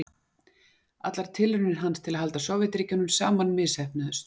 Allar tilraunir hans til að halda Sovétríkjunum saman misheppnuðust.